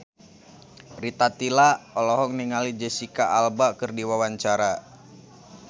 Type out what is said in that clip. Rita Tila olohok ningali Jesicca Alba keur diwawancara